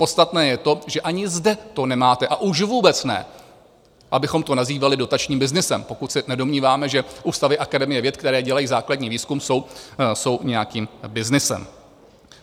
Podstatné je to, že ani zde to nemáte, a už vůbec ne abychom to nazývali dotačním byznysem - pokud se nedomníváme, že ústavy Akademie věd, které dělají základní výzkum, jsou nějakým byznysem.